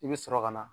I bɛ sɔrɔ ka na